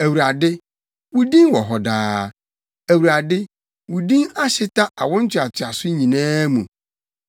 Awurade, wo din wɔ hɔ daa. Awurade wo din ahyeta awo ntoatoaso nyinaa mu.